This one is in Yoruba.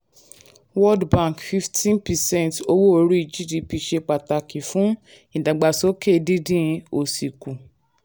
world bank: fifteen percent owó orí gdp ṣe pàtàkì fún ìdàgbàsókè dídín òṣì kù.